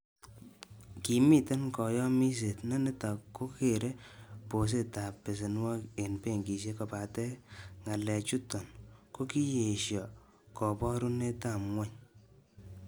Kimiten koyomiset ,ne niton kokere bosetab besenwogik en benkisiek, kobaten ngalechuton kokiyesho koborunetab ngwony.